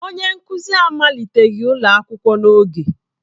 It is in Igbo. Onye nkuzi amaliteghi ụlọ akwụkwọ n'oge.